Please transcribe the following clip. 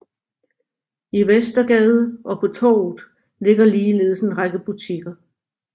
I Vestergade og på Torvet ligger ligeledes en række butikker